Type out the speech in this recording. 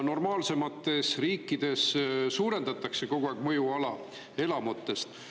Normaalsemates riikides suurendatakse kogu aeg mõjuala elamutest.